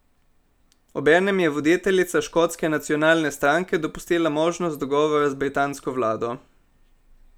Obenem je voditeljica Škotske nacionalne stranke dopustila možnost dogovora z britansko vlado.